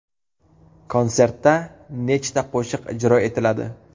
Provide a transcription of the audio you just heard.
Konsertda nechta qo‘shiq ijro etiladi?